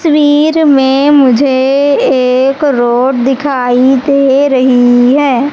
तस्वीर में मुझे एक रोड दिखाई दे रही है।